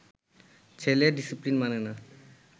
ছেলে ডিসিপ্লিন মানে না